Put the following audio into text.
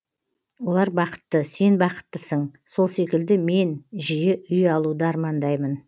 олар бақытты сен бақыттысың сол секілді мен жиі үй алуды армандаймын